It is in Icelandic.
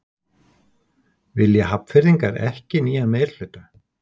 Vilja Hafnfirðingar ekki nýjan meirihluta?